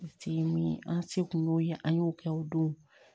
Se min ye an se kun y'o ye an y'o kɛ o don